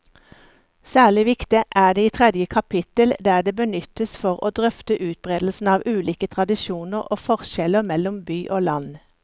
Særlig viktig er det i tredje kapittel, der det benyttes for å drøfte utbredelsen av ulike tradisjoner og forskjeller mellom by og land.